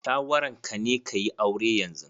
Shawaran ka ne ka yi aure yanzu?